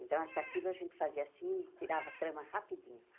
Então, a com aquilo a gente fazia assim, e tirava a trama rapidinho.